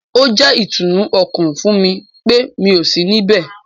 Ó jẹ́ ìtùnú ọkàn fún mi pé mi ò sí ní ibẹ̀